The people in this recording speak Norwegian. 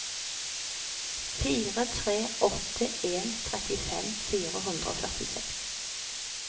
fire tre åtte en trettifem fire hundre og førtiseks